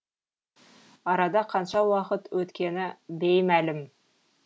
арада қанша уақыт өткені беймәлім